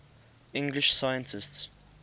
english scientists